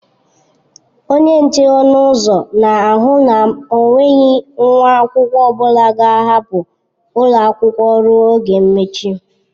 Onye nche ọnụ ụzọ na ahụ na enweghị nwa akwụkwọ ọbụla ga-ahapụ ụlọ akwụkwọ ruo oge mmechi.